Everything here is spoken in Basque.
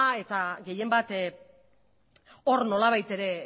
eta gehienbat hor nolabait ere